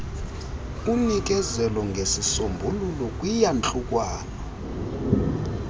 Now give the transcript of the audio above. unikeze ngezisombululo kwiyantlukwano